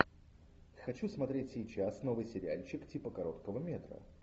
хочу смотреть сейчас новый сериальчик типа короткого метра